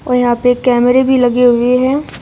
यहां पे कैमरे भी लगे हुए हैं।